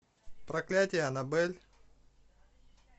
проклятие аннабель